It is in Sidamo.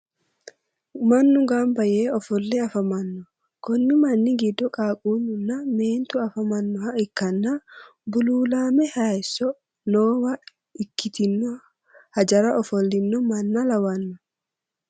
Mannu gamba yee ofolle afamanno. Konni manni giddo qaaqquullu nna meentu afamannoh ikkanna buluulaame haaysso noowa ikkitino hajara ofollino mann lawanno.